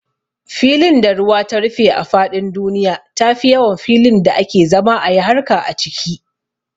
Filin da ruwa ta rufe a faɗin duniya tafi yawan filin da ake zama ayi harka a ciki